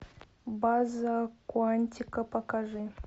база куантико покажи